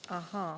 Ahaa!